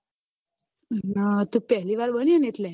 તુ પેલી વાર બની એટલે